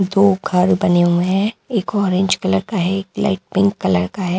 दो घर बने हुए हैं एक ऑरेंज कलर का है एक लाइट पिंक कलर का है।